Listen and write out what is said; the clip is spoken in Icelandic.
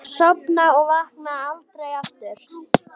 Sofna og vakna aldrei aftur.